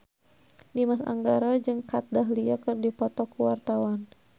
Dimas Anggara jeung Kat Dahlia keur dipoto ku wartawan